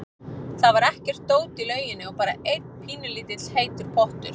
Það var ekkert dót í lauginni og bara einn pínulítill heitur pottur.